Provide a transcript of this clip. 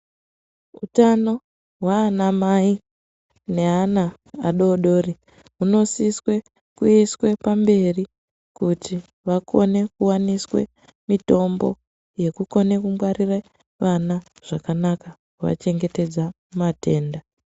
Utano hwaanamai neana adodori hunosiswe kuiswe pamberi kuti vakone kuwaniswe mitombo, yekukone kungwarire vana zvakanaka kuvachengetedza kumatenda.